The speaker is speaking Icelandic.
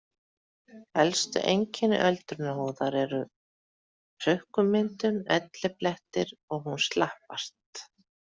Helstu einkenni öldrunar húðar eru hrukkumyndun, elliblettir og hún slappast.